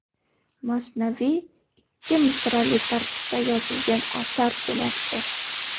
Masnaviy ikki misrali tartibda yozilgan asar demakdir.